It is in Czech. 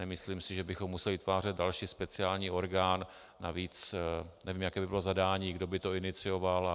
Nemyslím si, že bychom museli vytvářet další speciální orgán, navíc nevím, jaké by bylo zadání, kdo by to inicioval.